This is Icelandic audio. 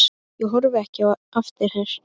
Ég horfi ekki eftir þér.